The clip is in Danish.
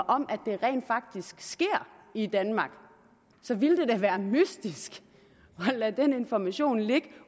om at det rent faktisk sker i danmark så ville det da være mystisk at lade den information ligge